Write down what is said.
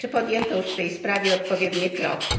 Czy podjęto już w tej sprawie odpowiednie kroki?